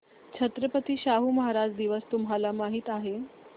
छत्रपती शाहू महाराज दिवस तुम्हाला माहित आहे